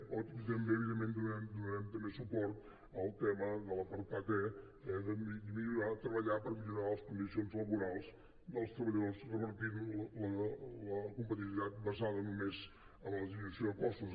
o també evidentment donarem suport al tema de l’apartat e de treballar per millorar les condicions laborals dels treballadors revertint la competitivitat basada només en la disminució de costos